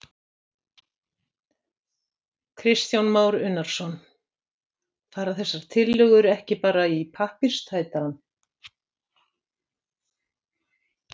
Kristján Már Unnarsson: Fara þessar tillögur ekki bara í pappírstætarann?